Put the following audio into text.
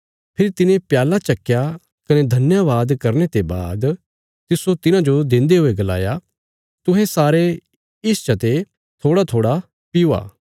फेरी तिने प्याल्ला चक्कया कने धन्यवाद करने ते बाद तिस्सो तिन्हाजो देन्दे हुये गलाया तुहें सारे इसच ते थोड़ाथोड़ा पीओ